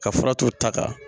Ka fura t'o ta kan